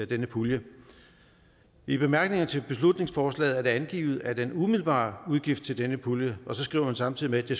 denne pulje i bemærkningerne til beslutningsforslaget er det angivet at den umiddelbare udgift til denne pulje og så skriver man samtidig at det